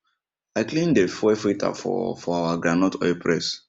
i clean dey fuel filter for for our groundnut oil press